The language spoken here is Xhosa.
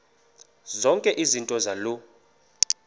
zonke izinto zaloo